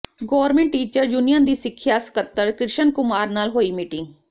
government teachers union ਦੀ ਸਿੱਖਿਆ ਸਕੱਤਰ ਕ੍ਰਿਸ਼ਨ ਕੁਮਾਰ ਨਾਲ ਹੋਈ ਮੀਟਿੰਗ